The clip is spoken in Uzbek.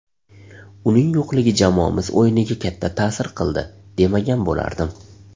Uning yo‘qligi jamoamiz o‘yiniga katta ta’sir qildi, demagan bo‘lardim.